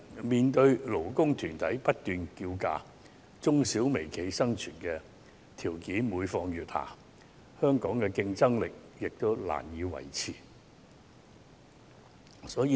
面對勞工團體不斷叫價，中小企和微企的生存條件每況愈下，香港的競爭力亦難以維持。